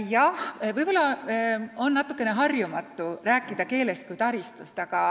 Jah, võib-olla on natuke harjumatu rääkida keelest kui taristust.